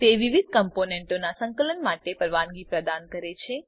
તે વિવિધ કમ્પોનેંટોનાં સંકલન માટે પરવાનગી પ્રદાન કરે છે